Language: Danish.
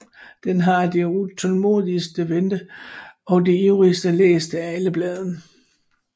Den var det utålmodigst ventede og det ivrigst læste af alle blade